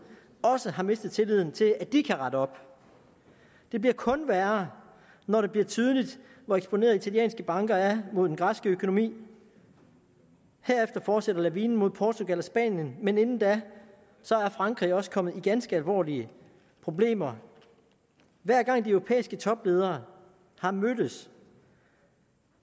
også har mistet tilliden til at de kan rette op det bliver kun værre når det bliver tydeligt hvor eksponerede italienske banker er mod den græske økonomi herefter fortsætter lavinen mod portugal og spanien men inden da er frankrig også kommet i ganske alvorlige problemer hver gang de europæiske topledere har mødtes